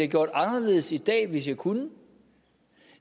gjort anderledes i dag hvis jeg kunne